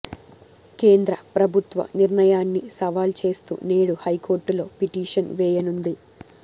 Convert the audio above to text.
కేంద్ర ప్రభుత్వ నిర్ణయాన్ని సవాల్ చేస్తూ నేడు హైకోర్టులో పిటిషన్ వేయనుంది